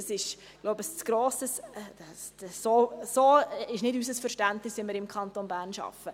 Das ist nicht unser Verständnis, wie wir im Kanton Bern arbeiten.